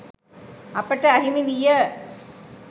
අපට අහිමි විය